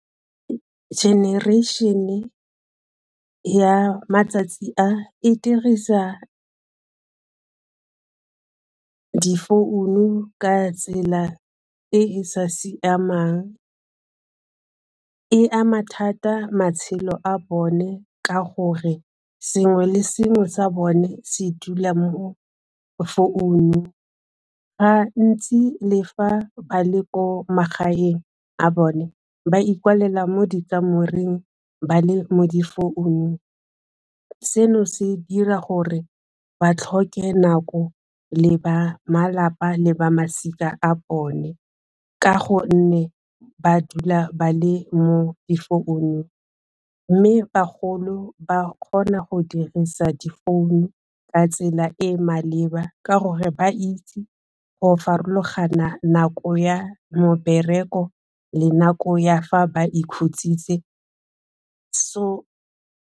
Generation-e ya matsatsi a, e dirisa difounu ka tsela e e sa siamang. E ama thata matshelo a bone ka gore sengwe le sengwe sa bone se dula mo founung ga ntsi le fa ba le ko magaeng a bone ba ikoalela mo dikamoreng ba le mo difounung, seno se dira gore ba tlhoke nako le ba malapa le ba masika a bone ka gonne ba dula ba le mo difounung mme bagolo ba kgona go dirisa difounu ka tsela e e maleba ka gore ba itse go farologanya nako ya mebereko le nako ya fa ba ikhutsitse so.